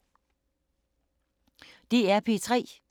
DR P3